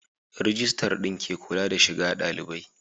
Rijistar din ke kula da shiga dalibai